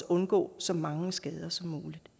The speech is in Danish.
undgår så mange skader som muligt